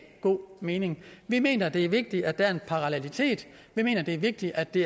god mening vi mener det er vigtigt at der er en parallelitet vi mener det er vigtigt at de